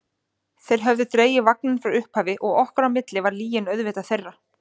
Þeir höfðu dregið vagninn frá upphafi og okkar á milli var lygin auðvitað þeirra.